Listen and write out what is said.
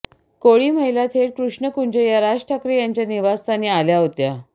कोळी महिला थेट कृष्णकुंज या राज ठाकरे यांच्या निवासस्थानी आल्या होत्या